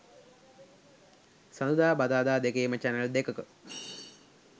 සදුදා බදාදා දෙකේම චැනල් දෙකක